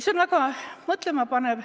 See on väga mõtlemapanev.